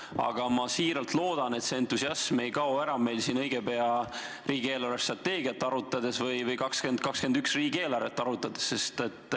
Aga ma siiralt loodan, et see entusiasm meil ei kao, kui hakkame õige pea riigi eelarvestrateegiat või 2021. aasta riigieelarvet arutama.